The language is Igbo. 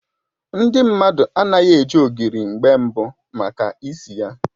Ndị mmadụ anaghị eji ogiri mgbe mbụ maka isi ya